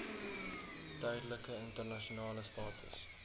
tydelike internasionale status